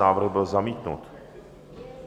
Návrh byl zamítnut